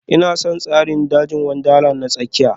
Ina son tsarin dajin Wundarlandi na tsakiya